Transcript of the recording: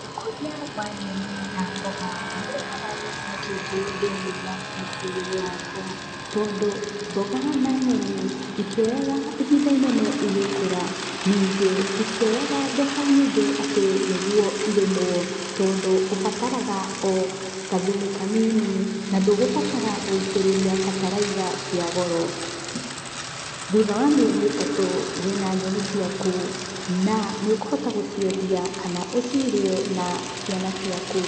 Ũkoria wa nyeni na mboga, nĩ ũrehaga gĩkeno kĩingĩ thĩiniĩ wa mũtũrĩre wakwa, tondũ mboga na nyeni itioyaga ihinda inene igĩkũra, ningĩ itioyaga mbeca nyingĩ ati nĩguo irĩmwo tondũ ũmbataraga o gathumu kanini na ndũgumbatara gũitĩrĩria bataraitha cĩa goro. Thutha wa mieri itatu wĩna nyeni ciaku na níĩ ũkũhota gũciendia kana ũrĩe na ciana ciaku.